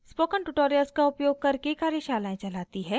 spoken tutorials का उपयोग करके कार्यशालाएं चलाती है